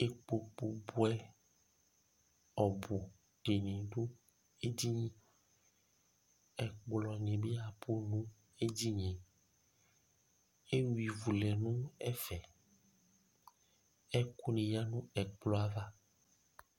Ikpoku bʋɛ ɔbʋ dìní du edini Ɛkplɔ ni bi abʋ nʋ edini ye Eyʋa ivu lɛ nʋ ɛfɛ Ɛkʋ ya nʋ ɛkplɔ yɛ ava